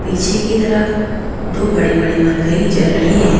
पीछे की तरफ दो बड़ी बड़ी मरकरी जल रही है।